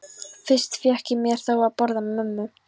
Fyrst fékk ég mér þó að borða með mömmu.